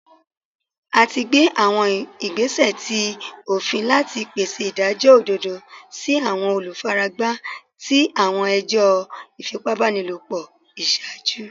A ti gbe awọn igbesẹ ti ofin lati pese idajọ ododo si awọn olufaragba ti awọn ẹjọ ifipabanilopo iṣaaju